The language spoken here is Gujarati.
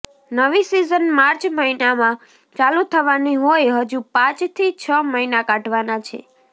નવી સિઝન માર્ચ મહિનામાં ચાલુ થવાની હોઇ હજુ પાંચથી છ મહિના કાઢવાના છે